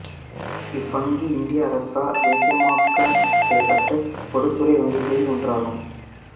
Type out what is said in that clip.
இவ்வங்கி இந்திய அரசால் தேசியமயமாக்கம் செய்யப்பட்ட பொதுத்துறை வங்கிகளில் ஒன்றாகும்